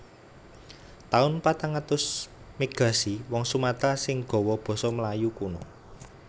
Taun patang atus Migrasi wong Sumatera sing gawa basa Melayu kuno